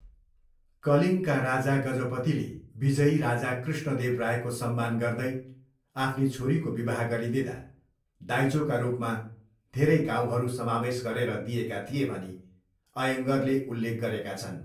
कलिङ्गका राजा गजपतिले विजयी राजा कृष्णदेव रायको सम्मान गर्दै आफ्नी छोरीको विवाह गरिदिँदा दाइजोका रूपमा धेरै गाउँहरू समावेश गरेर दिएका थिए भनी अय्यङ्गरले उल्लेख गरेका छन्।